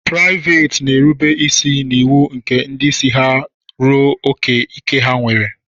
Praịveet na-erube isi n'iwu nke ndị isi ha ruo ókè ike ha nwere.